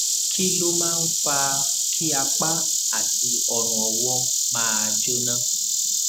kí ló máa ń fa kí apá àti ọrùnọwọ máa jóná